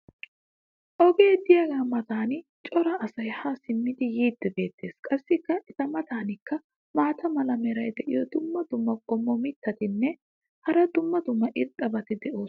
Ogee diyaagaa matan cora asay haa simmidi yiidi beetees. qassi eta matankka maata mala meray diyo dumma dumma qommo mitattinne hara dumma dumma irxxabati de'oosona.